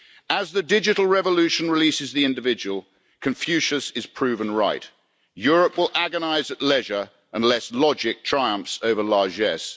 As the digital revolution releases the individual, Confucius is proven right Europe will agonise at leisure unless logic triumphs over largesse.